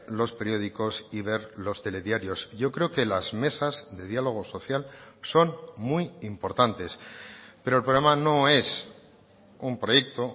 los periódicos y ver los telediarios yo creo que las mesas de diálogo social son muy importantes pero el problema no es un proyecto